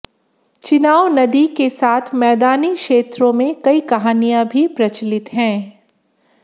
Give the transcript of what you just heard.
चिनाव नदी के साथ मैदानी क्षेत्रों में कई कहानियां भी प्रचलित हैं